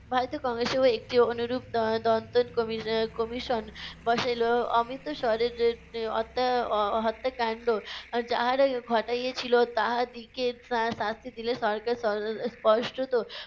ভারতের কংগ্রেসেও একটি অনুরুপ দ~ দ~ দন্তন কমি~ commission বসাইলো। অমিত স্বরের এর অত্যা~ হ~ হত্যাকাণ্ড যাহারাই ঘটাইয়েছিল তাহাদিগে শা~ শাস্তি দিলে সরকার স~ স~ স্পষ্টত।